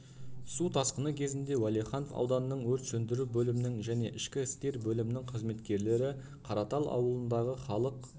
су тасқыны кезінде уәлиханов ауданының өрт сөндіру бөлімінің және ішкі істер бөлімінің қызметкерлері қаратал ауылындағы халық